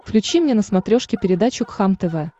включи мне на смотрешке передачу кхлм тв